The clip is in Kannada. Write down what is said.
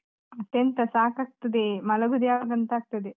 ಮತ್ತೆಂತ ಸಾಕಾಗ್ತದೆ, ಮಲಗುದು ಯಾವಾಗ ಅಂತ ಆಗ್ತದೆ.